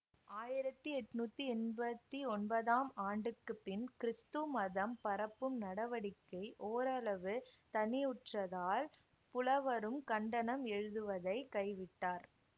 ஆயிரத்தி எட்ணூத்தி எம்பத்தி ஒன்பதாம் ஆண்டுக்கு பின் கிறீஸ்து மதம் பரப்பும் நடவடிக்கை ஓரளவு தணிவுற்றதால் புலவரும் கண்டனம் எழுதுவதை கைவிட்டார்